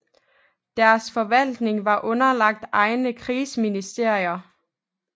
Deres forvaltning var underlagt egne krigsministerier